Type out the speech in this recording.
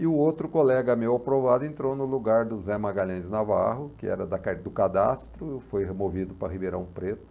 E o outro colega meu aprovado entrou no lugar do Zé Magalhães Navarro, que era da car do cadastro, foi removido para Ribeirão Preto.